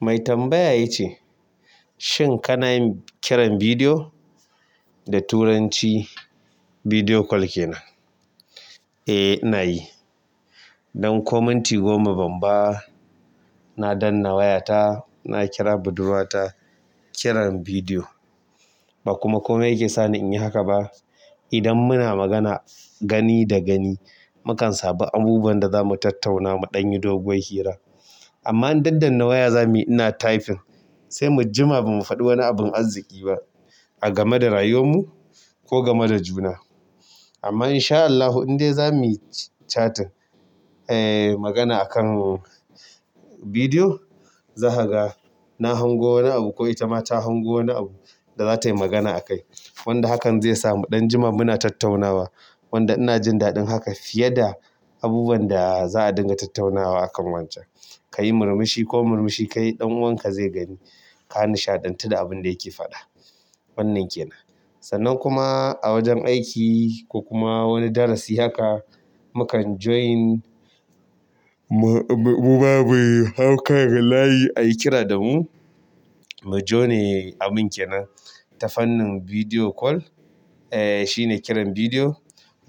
Mai tambaya ya ce, "Shin ka na yin kiran bidiyo da turanci?" Video call kenan. Eh ina yi don ko minti goma ban ba, na danna wayata, na kira budurwata kiran bidiyo ba kuma komai yake sani in yi haka ba. Idan muna magana gani da gani, mu kan sami abubuwan da za mu tattauna mu ɗan yi doguwar hira. Amma in daddanna waya za muyi ina typing, sai mu jima ba mu faɗi wani abin arziki ba a game da rayuwanmu ko game da juna. Amma insha Allahu in dai zamuyi chatin aa magana akan bidiyo, zaka ga na hango wani abu ko itama ta hango wani abu da za tai magana akai wanda hakan zai sa mu ɗan jima muna tattaunawa. Wanda ina jin daɗin haka fiye da abubuwan da za a dinga tattaunawa akan wancan. Ka yi murmushi ko murmushi ka yi ɗan uwanka zai gani. Ka nishaɗantu da abin da yake faɗa. Wannan kenan. Sannan kuma a wajen aiki ko kuma wani darasi haka, mu kan join, mu, mu, mu ma mu hau kan layi ayi kira da mu. Mu jone abun kenan tafannin video call, eh shine kiran bidiyo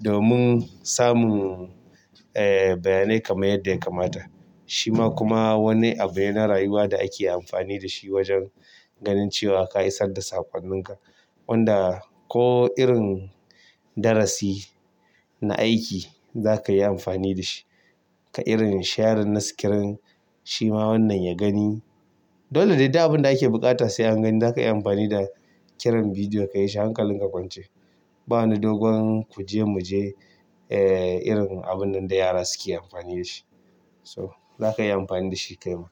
domin samun, eh bayanai kamar yadda ya kamata. Shi ma kuma wani abu yana rayuwa da ake amfani da shi wajen ganin cewa ka isar da sakonninka. Wanda ko irin darasi na aiki zaka yi amfani da shi. Ka irin sharin na skirin, shi ma wannan ya gani. Dole dai duk abin da ake buƙata sai an gani za ka iya amfani da kiran bidiyo ka yi shi hankalin ka kwance. Ba ni dogon ku je mu je, eh irin abun nan da yara suke amfani da shi. To, za ka iya amfani da shi kai ma.